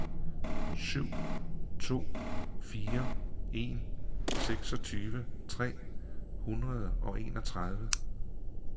syv to fire en seksogtyve tre hundrede og enogtredive